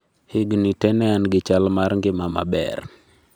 Higni te ne an gi chal mar ngima maber